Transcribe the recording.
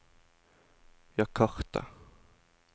Jakarta